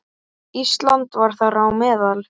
Ísland var þar á meðal.